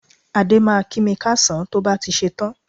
Adé máa kí mi káàsán tó bá ti ṣetán